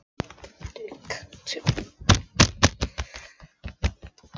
Undir öðrum kringumstæðum hefði hann viljað hverfa niður úr jörðinni.